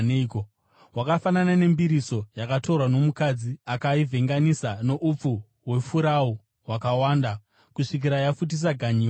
Hwakafanana nembiriso yakatorwa nomukadzi akaivhenganisa noupfu hwefurau hwakawanda kusvikira yafutisa ganyiwa.”